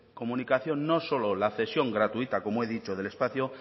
comunicación no solo la cesión gratuita como he dicho del espacio